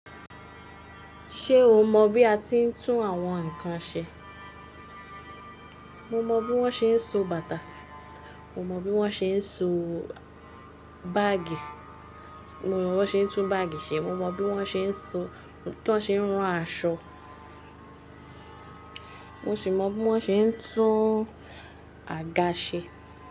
Ṣé o mọ bí a ti ń tún àwọn nǹkan ṣe? Mo mọ bí wọ́n ṣe ń so bàtà, mo mọ bí wọ́n ṣe ń so báàgì, mo mọ bí wọ́n ṣe ń tún báàgì ṣe, mo mọ bí wọ́n ṣe ń so, tan ṣe ń ran aṣọ, mo sì mọ bí wọ́n ṣe ń tún àga ṣe.